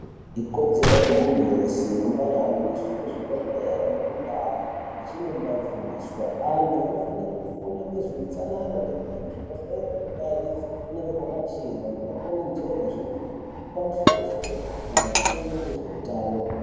Ikodzero yemuntu wese kumbahambiswe kuzvibhehlere nekundaya achinombaifundiswa. Antu anofanire kufunda ngezveutsanana ngekuti kuzvibhehlere nekundaa idzi kunenge kwakachena kwakakwenenzverwa zvepamusoro-soro, antu afundire ngezveutano.